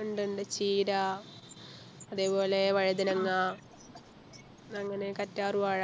ഉണ്ട് ഉണ്ട് ചീര അതേപോലെ വഴുതനങ്ങ അങ്ങനെ കറ്റാർവാഴ